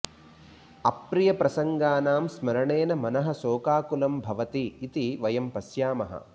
अप्रियप्रसङ्गानां स्मरणेन मनः शोकाकुलं भवति इति वयं पश्यामः